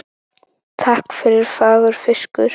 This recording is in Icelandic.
Takk fyrir fagur fiskur.